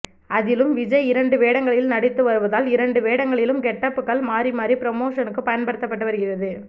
அதிலும் விஜய் இரண்டு வேடங்களில் நடித்து வருவதால் இரண்டு வேடங்களில் கெட்டப்புகள் மாறிமாறி புரமோஷனுக்கு பயன்படுத்தப்பட்டு வருகிறது